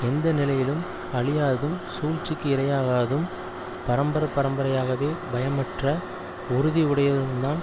எந்த நிலையிலும் அழியாததும் சூழ்ச்சிக்கு இரையாகாததும் பரம்பரையாகவே பயமற்ற உறுதி உடையதும்தான்